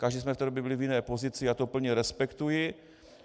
Každý jsme v té době byli v jiné pozici, já to plně respektuji.